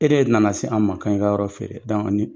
E de nana se anw ma k'an ka yɔrɔ feere ni